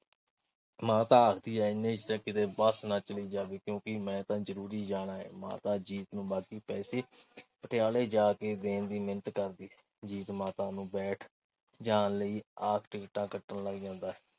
ਮਾਤਾ ਆਖਦੀ ਹੈ ਕਿ ਇਨੇ ਚ ਤਾਂ ਕਿਤੇ ਬੱਸ ਨਾ ਚਲੀ ਜਾਵੇ ਕਿਉਂ ਕਿ ਮੈਂ ਤਾਂ ਜ਼ਰੂਰੀ ਜਾਣਾ ਏ। ਮਾਤਾ ਜੀਤ ਨੂੰ ਬਾਕੀ ਪੈਸੇ ਪਟਿਆਲੇ ਜਾ ਕੇ ਦੇਣ ਦੀ ਮਿੰਨਤ ਕਰਦੀ ਹੈ। ਜੀਤ ਮਾਤਾ ਨੂੰ ਬੈਠ ਜਾਣ ਲਈ ਆਖ ਕੇ ਟਿਕਟਾਂ ਕੱਟਣ ਲੱਗ ਜਾਂਦਾ ਹੈ।